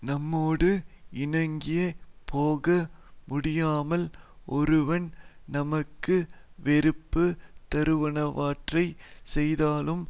நம்மோடு இணங்கி போக முடியாமல் ஒருவன் நமக்கு வெறுப்புத் தருவனவற்றைச் செய்தாலும்